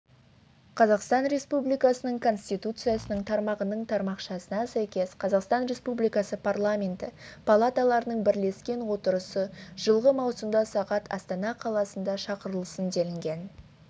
қазақстан республикасы конституциясының тармағының тармақшасына сәйкес қазақстан республикасы парламенті палаталарының бірлескен отырысы жылғы маусымда сағат астана қаласында шақырылсын делінген